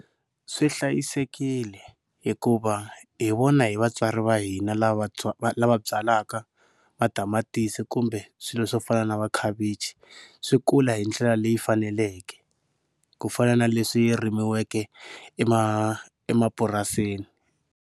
Swi hlayisekile hikuva hi vona hi vatswari va hina lava lava byalaka matamatisi kumbe swilo swo fana na makhavichi swi kula hi ndlela leyi faneleke ku fana na leswi rimiweke emapurasini.